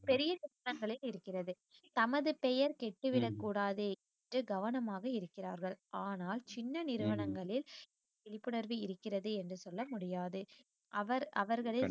பெரிய குற்றங்களை இருக்கிறது தமது பெயர் கெட்டு விடக்கூடாது என்று கவனமாக இருக்கிறார்கள் ஆனால் சின்ன நிறுவனங்களில் விழிப்புணர்வு இருக்கிறது என்று சொல்ல முடியாது அவர் அவர்களில்